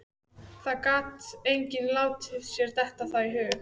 Það gat enginn látið sér detta það í hug.